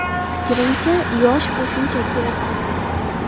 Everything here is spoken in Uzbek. Fikrimcha, yosh bu shunchaki raqam.